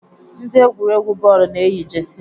Ndị egwuregwu bọọlụ na-eyi Jesi